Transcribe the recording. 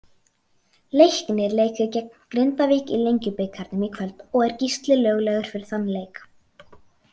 Leiknir leikur gegn Grindavík í Lengjubikarnum í kvöld og er Gísli löglegur fyrir þann leik.